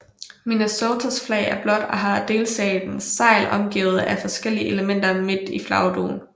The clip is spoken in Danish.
Minnesotas flag er blåt og har delstatens segl omgivet af forskellige elementer midt i flagdugen